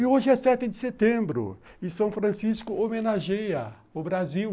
E hoje é sete de setembro e São Francisco homenageia o Brasil.